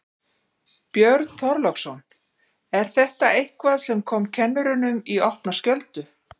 Björn Þorláksson: Er þetta eitthvað sem kom kennurum í opna skjöldu?